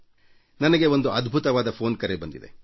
ನನಗೆ ಒಂದು ಅದ್ಭುತವಾದ ಫೋನ್ ಕರೆ ಬಂದಿದೆ